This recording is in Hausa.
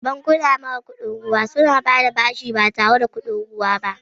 Bankuna mara kuɗin ruwa suna bayar da bashi ba tare da kuɗin ruwa ba.